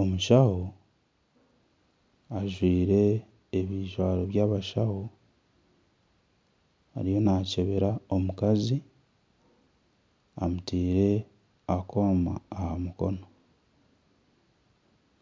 Omushaho ajwaire ebijwaaro byabashaho ariyo nakyebera omukazi amutaire akoma aha mukono